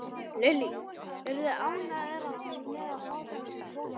Lillý: Eruð þið ánægðir með að fá þennan kvóta?